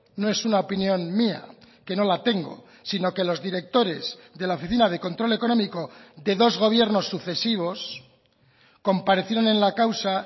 no es una opinión mía que no la tengo sino que los directores de la oficina de control económico de dos gobiernos sucesivos comparecieron en la causa